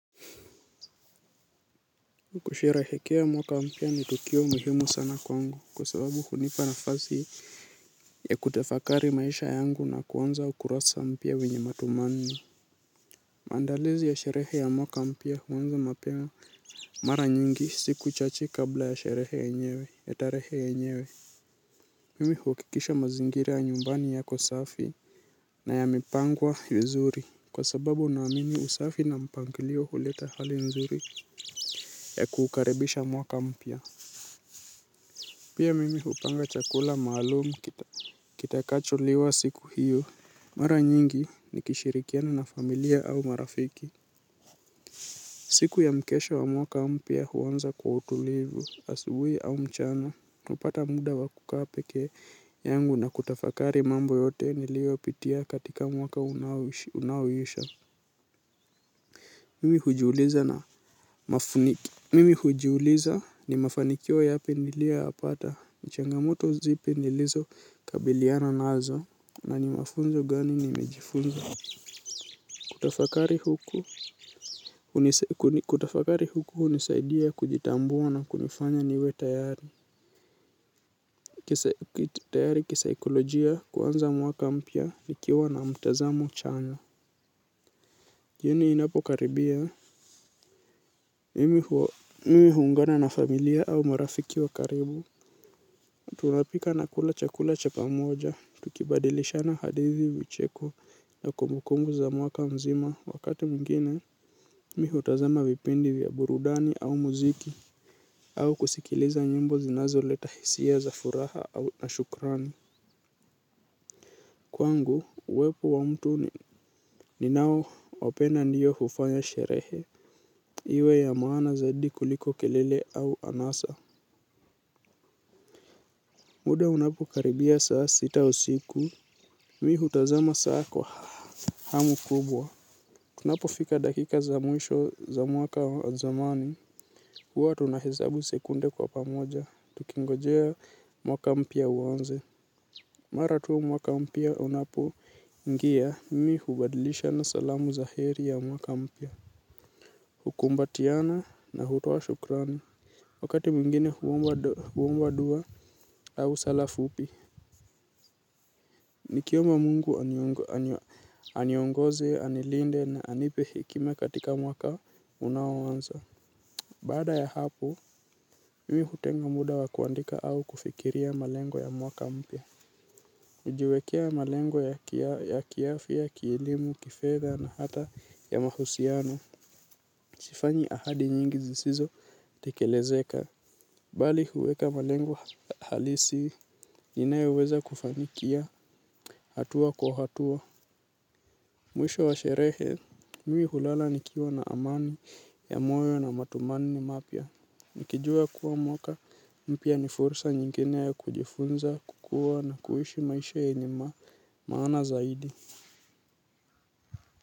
Kusherehekea mwaka mpia ni tukio muhimu sana kwangu kwa sababu hunipa nafazi ya kutafakari maisha yangu na kuanza ukurasa mpia wenye matumani. Maandalizi ya sherehe ya mwaka mpia huanza mapema mara nyingi siku chache kabla ya sherehe yenyewe, ya tarehe yenyewe. Mimi hukikisha mazingira ya nyumbani yako safi na yamepangwa vizuri kwa sababu naamini usafi na mpangilio huleta hali nzuri ya kukaribisha mwaka mpia. Pia mimi hupanga chakula malum kitakacholiwa siku hiyo. Mara nyingi nikishirikiana na familia au marafiki. Siku ya mkesha wa mwaka mpia huwanza kwa utulivu, asubui au mchana. Upata muda wa kuka peke yangu na kutafakari mambo yote nilio pitia katika mwaka unaowisha. Mimi hujuliza na mafuniki. Mimi hujuliza ni mafanikio yapi nilioyapata. Ni changamoto zipi nilizo kabiliana nazo nani mafunzo gani nimejifunza. Kutafakari huku unisaidia kujitambua na kunifanya niwe tayari. Tayari kisaikolojia kuanza mwaka mpya nikiwa na mtazamo chanya. Jioni inapo karibia. Mimi hungana na familia au marafiki wa karibu. Tunapika nakula chakula cha pamoja, tukibadilishana hadithi vicheko na kumbukumbu za mwaka mzima wakati mngine, mi hutazama vipindi vya burudani au muziki, au kusikiliza nyimbo zinazoleta hisia za furaha au na shukrani. Kwangu, uwepo wa mtu ninao wapenda ndiyo hufanya sherehe, iwe ya maana zaidi kuliko kelele au anasa. Muda unapo karibia saa sita usiku, mi hutazama saa kwa hamu kubwa. Kunapo fika dakika za mwisho za mwaka wa zamani, huwa tunahesabu sekunde kwa pamoja, tukingojea mwaka mpia uwanze. Mara tu mwaka mpia unapoingia, mi hubadilishana salamu za heri ya mwaka mpia. Hukumbatiana na hutoa shukrani. Wakati mwingine huwomba dua au sala fupi. Nikiomba mungu aniongoze, anilinde na anipe hekima katika mwaka unaowanza. Bada ya hapo, mimi hutenga muda wa kuandika au kufikiria malengo ya mwaka mpya. Najiwekea malengo ya kiafia, kielimu, kifedha na hata ya mahusiano. Sifanyi ahadi nyingi zisizo tekelezeka. Bali huweka malengo halisi, ninaeweza kufanikia hatua kwa hatua. Mwisho wa sherehe, mii hulala nikiwa na amani ya moyo na matumani mapia. Nikijua kuwa mwaka, mpia ni fursa nyingine ya kujifunza, kukua na kuhishi maisha yenye ma, maana zaidi.